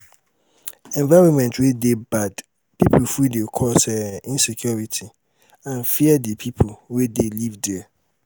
environment wey bad pipo full de cause um insecurity and fear di pipo wey de live there